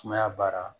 Sumaya baara